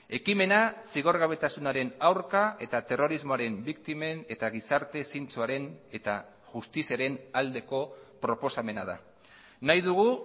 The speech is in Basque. ekimena zigorgabetasunaren aurka eta terrorismoaren biktimen eta gizarte zintzoaren eta justiziaren aldeko proposamena da nahi dugu